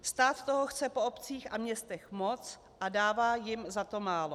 Stát toho chce po obcích a městech moc a dává jim za to málo.